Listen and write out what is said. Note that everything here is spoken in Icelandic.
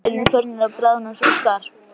Jöklarnir eru farnir að bráðna svo skarpt.